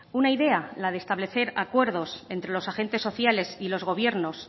una idea la de establecer acuerdos entre los agentes sociales y los gobiernos